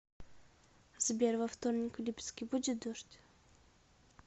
сбер во вторник в липецке будет дождь